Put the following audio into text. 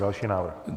Další návrh.